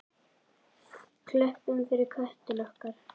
Klöppum fyrir köttum okkar!